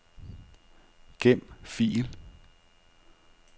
Gem fil.